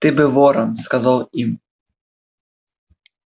ты бы ворон сказал им